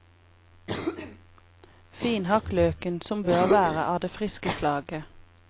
Finhakk løken, som bør være av det friske slaget.